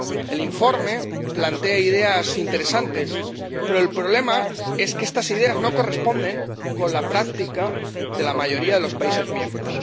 El informe plantea ideas interesantes, pero el problema es que estas ideas no se corresponden con la práctica de la mayoría de los países miembros.